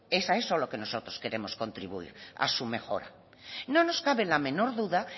es a eso lo que nosotros queremos contribuir a su mejora no nos cabe la menor duda